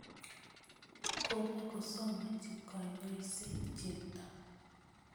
Kopkosomanchi kanyaiset Cheptoo